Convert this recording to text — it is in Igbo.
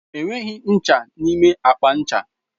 Enweghị ncha n'ime akpa ncha.